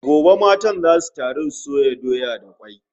Gobe matan zasu taru su soya doya da kwai